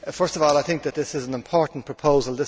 First of all, I think that this is an important proposal.